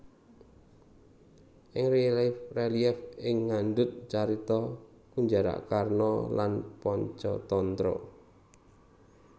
Ing relief relief e ngandhut carita Kunjarakarna lan Pancatantra